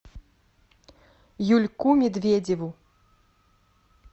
юльку медведеву